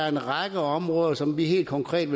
en række områder som vi helt konkret